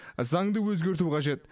заңды өзгерту қажет